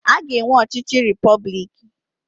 A ga-enwe ọchịchị repọblik.